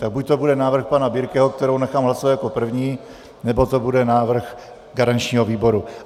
Tak buď to bude návrh pana Birkeho, který nechám hlasovat jako první, nebo to bude návrh garančního výboru.